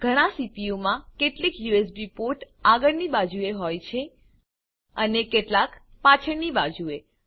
ઘણા સીપીયુ માં કેટલાક યુએસબી પોર્ટ આગળની બાજુએ હોય છે અને કેટલાક પાછળની બાજુએ